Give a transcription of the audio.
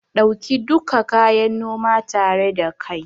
Ɗauki duka kayan noma tare da kai